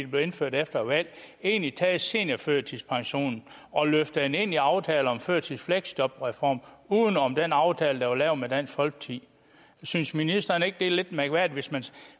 blev indført efter et valg egentlig taget seniorførtidspensionen og løftet den ind i aftalen om førtids og fleksjobreformen uden om den aftale der var lavet med dansk folkeparti synes ministeren ikke det er lidt mærkværdigt